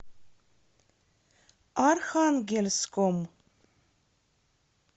архангельском